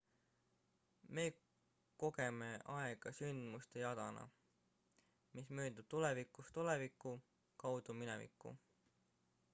me kogeme aega sündmuste jadana mis möödub tulevikust oleviku kaudu minevikku